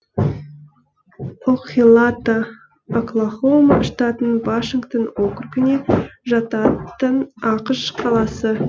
окхелата оклахома штатының вашингтон округіне жататын ақш қаласы